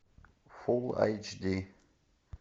фулл эйч ди